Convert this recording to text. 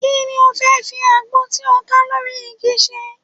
Kí ni o fẹ́ fi àgbọn tí ó ká lórí igi ṣe?